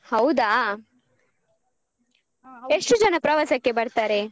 ಹೌದಾ ಎಷ್ಟು ಜನ ಪ್ರವಾಸಕ್ಕೆ ಬರ್ತಾರೆ?